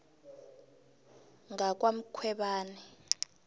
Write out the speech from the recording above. ngwakwamkhwebani